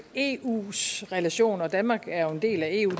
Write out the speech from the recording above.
eus relationer danmark er jo en del af eu